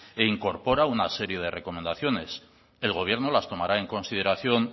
e incorpora una serie de recomendaciones el gobierno las tomará en consideración